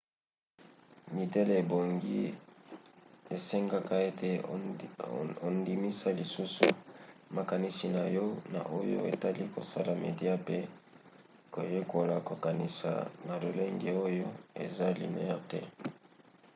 midele ebongi esengeka ete ondimisa lisusu makanisi na yo na oyo etali kosala media pe koyekola kokanisa na lolenge oyo eza lineaire te